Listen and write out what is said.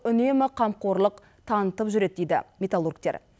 үнемі қамқорлық танытып жүреді дейді металлургтер